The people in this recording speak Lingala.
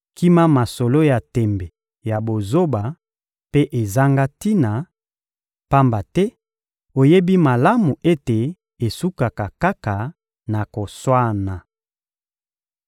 Kima masolo ya tembe ya bozoba mpe ezanga tina, pamba te oyebi malamu ete esukaka kaka na koswana.